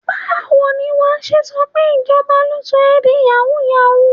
Báwo ni wà á ṣe sọ pé ìjọba ló sọ ẹ di yàwúù-yàwúù?